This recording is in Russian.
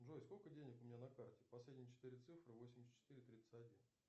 джой сколько денег у меня на карте последние четыре цифры восемьдесят четыре тридцать один